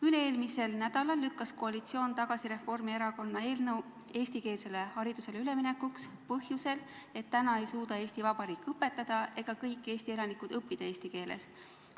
Üle-eelmisel nädalal lükkas koalitsioon tagasi Reformierakonna eelnõu eestikeelsele haridusele üleminekuks, ja seda põhjusel, et praegu ei suuda Eesti Vabariik õpetada ega kõik Eesti elanikud õppida eesti keeles.